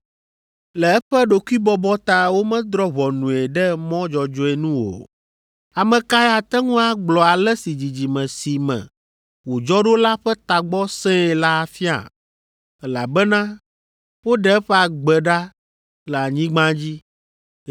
Le eƒe ɖokuibɔbɔ ta womedrɔ̃ ʋɔnue ɖe mɔ dzɔdzɔe nu o. Ame kae ate ŋu agblɔ ale si dzidzime si me wòdzɔ ɖo la ƒe tagbɔ sẽe la afia? Elabena woɖe eƒe agbe ɖa le anyigba dzi.”